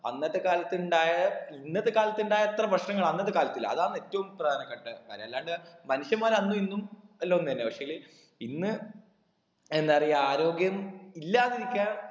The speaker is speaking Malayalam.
അന്നത്തെ കാലത്ത് ഉണ്ടായ ഇന്നത്തെ കാലത്ത് ഉണ്ടായ അത്ര ഭക്ഷണങ്ങൾ അന്നത്തെ കാലത്ത് ഇല്ല അതാണ് ഏറ്റവും പ്രധാനപ്പെട്ട കാര്യം അല്ലാണ്ട് മനുഷ്യന്മാര് അന്നും ഇന്നും എല്ലാം ഒന്നെന്നെ പക്ഷേല് ഇന്ന് എന്താപ്പറയാ ആരോഗ്യം ഇല്ലാതിരിക്കാൻ